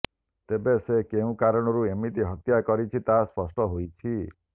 ତେବେ ସେ କେଉଁ କାରଣରୁ ଏମିତି ହତ୍ୟା କରିଛି ତାହା ସ୍ପଷ୍ଟ ହୋଇଛି